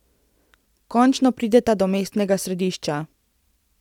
Končno prideta do mestnega središča.